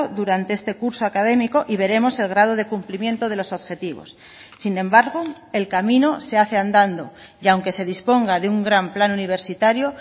durante este curso académico y veremos el grado de cumplimiento de los objetivos sin embargo el camino se hace andando y aunque se disponga de un gran plan universitario